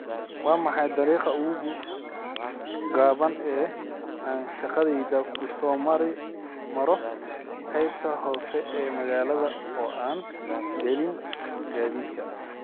waa maxay dariiqa ugu gaaban ee aan shaqadayda ku soo maro qaybta hoose ee magaalada oo aan gelin gaadiidka